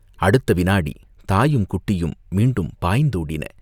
அடுத்த விநாடி தாயும், குட்டியும் மீண்டும் பாய்ந்தோடின.